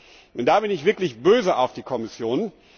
4. Denn da bin ich wirklich böse auf die Kommission.